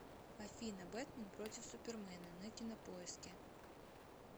афина бэтмен против супермена на кинопоиске